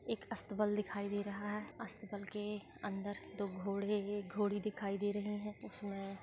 एक अस्तबल दिखाई दे रहा है अस्तबल के अंदर दो घोड़े एक घोड़ी दिखाई दे रहे हैउसमे--